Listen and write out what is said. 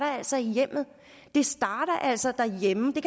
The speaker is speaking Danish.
altså i hjemmet det starter altså derhjemme det